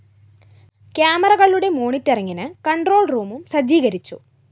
ക്യാമറകളുടെ മോണിട്ടറിംഗിന് കണ്‍ട്രോള്‍ റൂമും സജ്ജീകരിച്ചു